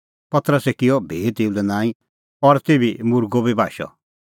पतरसै किअ भी तेऊ लै नांईं और तेभी मुर्गअ बी बाशअ